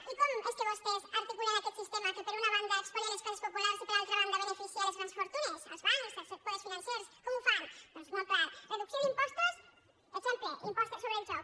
i com és que vostès articulen aquest sistema que per una banda espolia les classes populars i per altra banda beneficia les grans fortunes els bancs els poders financers com ho fan doncs molt clar reducció d’impostos exemple impost sobre el joc